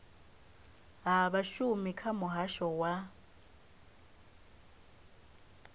ha vhashumi kha muhasho wa